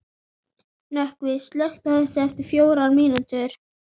Nökkvi, slökktu á þessu eftir fjórar mínútur.